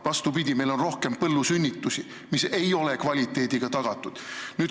Vastupidi, meil on rohkem põllusünnitusi, kus ei ole mingit kvaliteeti.